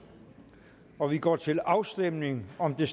og vi går til afstemning om det